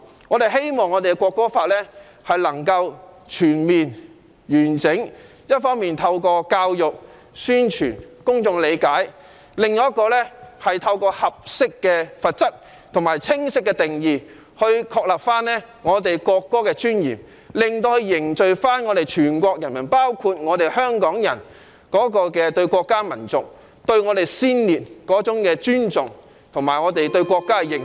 我們希望能夠全面、完整地落實《條例草案》，一方面透過教育、宣傳令公眾理解，另一方面透過合適的罰則和清晰的定義，確立國歌的尊嚴，凝聚全國人民，包括香港人對國家、民族、先烈的尊重，以及我們對國家的認同。